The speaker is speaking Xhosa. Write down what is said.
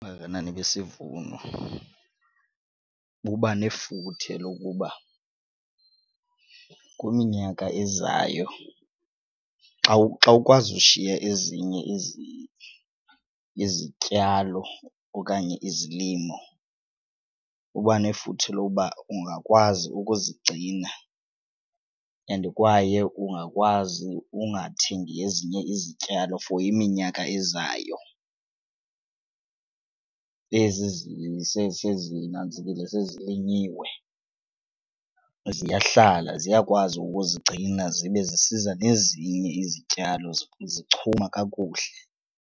Ubungakanani besivuno buba nefuthe lokuba kwiminyaka ezayo xa xa ukwazi ushiya ezinye izinto izityalo okanye izilimo kuba nefuthe lokuba ungakwazi ukuzigcina and kwaye ungakwazi ukungathengi ezinye izityalo for iminyaka ezayo. Ezi sezinantsikile sezilinyiwe ziyahlala, ziyakwazi ukuzigcina zibe zisiza nezinye izityalo zichuma kakuhle.